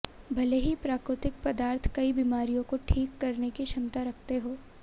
भले ही प्राकृतिक पदार्थ कई बीमारियों को ठीक करने की क्षमता रखते हों